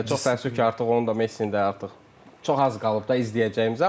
Çox təəssüf ki, artıq onun da, Messinin də artıq çox az qalıb da izləyəcəyimizə.